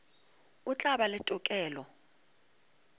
o tla ba le tokelo